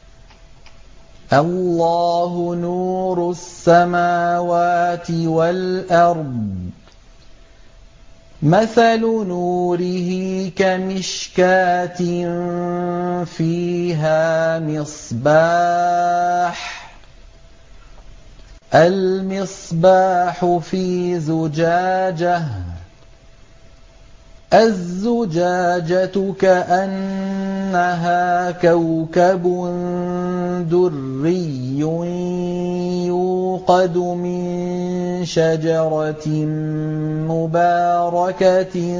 ۞ اللَّهُ نُورُ السَّمَاوَاتِ وَالْأَرْضِ ۚ مَثَلُ نُورِهِ كَمِشْكَاةٍ فِيهَا مِصْبَاحٌ ۖ الْمِصْبَاحُ فِي زُجَاجَةٍ ۖ الزُّجَاجَةُ كَأَنَّهَا كَوْكَبٌ دُرِّيٌّ يُوقَدُ مِن شَجَرَةٍ مُّبَارَكَةٍ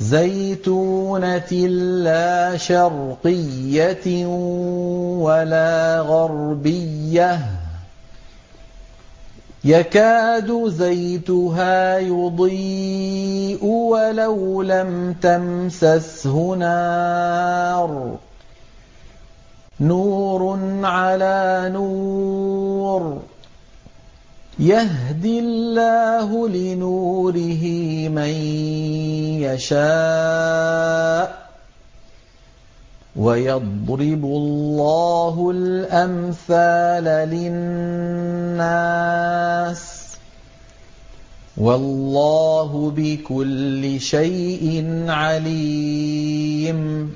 زَيْتُونَةٍ لَّا شَرْقِيَّةٍ وَلَا غَرْبِيَّةٍ يَكَادُ زَيْتُهَا يُضِيءُ وَلَوْ لَمْ تَمْسَسْهُ نَارٌ ۚ نُّورٌ عَلَىٰ نُورٍ ۗ يَهْدِي اللَّهُ لِنُورِهِ مَن يَشَاءُ ۚ وَيَضْرِبُ اللَّهُ الْأَمْثَالَ لِلنَّاسِ ۗ وَاللَّهُ بِكُلِّ شَيْءٍ عَلِيمٌ